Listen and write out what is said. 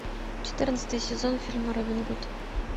четырнадцатый сезон фильма робин гуд